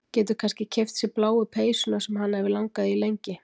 Getur kannski keypt sér bláu peysuna sem hana hefur langað í lengi.